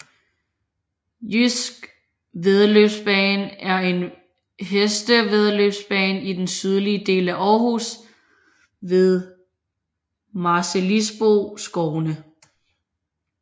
Jydsk Væddeløbsbane er en hestevæddeløbsbane i den sydlige del af Aarhus ved Marselisborgskovene